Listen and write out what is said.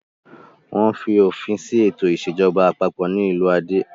Wọ́n fi òpin sí ètò ìṣèjọba àpapọ̀ ní ìlú Ade.